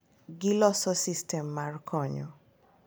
Giloso sistem mar konyo